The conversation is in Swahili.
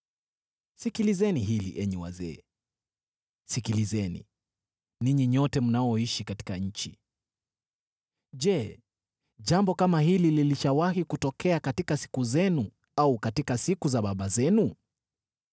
Sikilizeni hili, enyi wazee; sikilizeni, ninyi nyote mnaoishi katika nchi. Je, jambo kama hili lilishawahi kutokea katika siku zenu au katika siku za babu zenu?